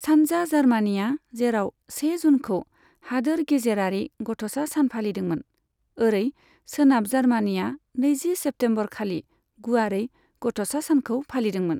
सानजा जार्मानिआ जेराव से जूनखौ हादोर गेजेरारि गथ'सा सान फालिदोंमोन, ओरै सोनाब जार्मानिआ नैजि सेप्तेम्बर खालि गुवारै गथ'सा सानखौ फालिदोंमोन।